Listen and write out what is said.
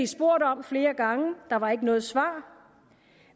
spurgt om flere gange og der var ikke noget svar